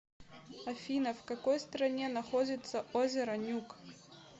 афина в какой стране находится озеро нюк